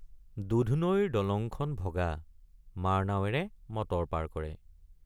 দুধনৈৰ দলংখন ভগা মাৰনাৱেৰে মটৰ পাৰ কৰে।